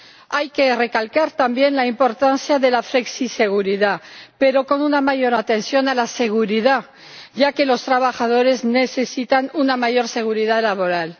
Hay que recalcar también la importancia de la flexiseguridad, pero con una mayor atención a la seguridad, ya que los trabajadores necesitan una mayor seguridad laboral.